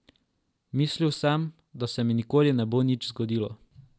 Mislil sem, da se mi nikoli ne bo nič zgodilo.